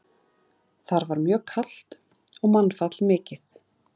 Þar var mjög kalt og mannfall mikið.